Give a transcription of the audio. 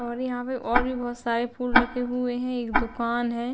और यहाँ पे और भी बोहोत सारे फूल रखे हुए हैं एक दुकान है।